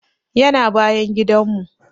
Yana bayan gidan mu